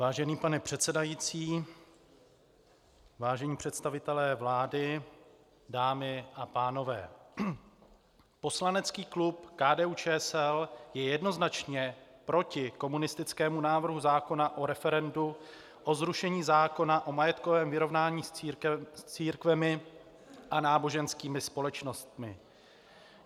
Vážený pane předsedající, vážení představitelé vlády, dámy a pánové, poslanecký klub KDU-ČSL je jednoznačně proti komunistickému návrhu zákona o referendu o zrušení zákona o majetkovém vyrovnání s církvemi a náboženskými společnostmi.